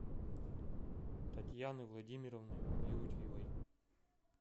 татьяны владимировны юрьевой